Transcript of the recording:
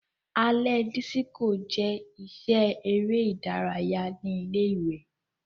Alẹ disiko jẹ iṣẹ ere idaraya ni ile-iwe.